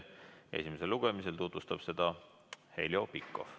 Esimesel lugemisel tutvustab seda Heljo Pikhof.